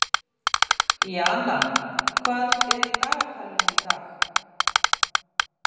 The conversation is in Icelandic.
Jana, hvað er í dagatalinu í dag?